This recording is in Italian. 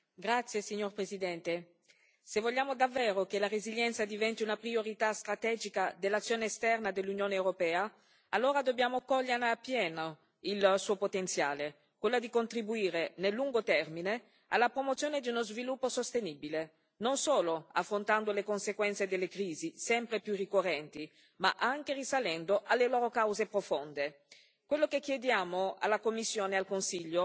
Signor Presidente, onorevoli colleghi, se vogliamo davvero che la resilienza diventi una priorità strategica dell'azione esterna dell'Unione europea, allora dobbiamo cogliere appieno il suo potenziale, quello di contribuire, nel lungo termine, alla promozione di uno sviluppo sostenibile non solo affrontando le conseguenze delle crisi sempre più ricorrenti, ma anche risalendo alle loro cause profonde.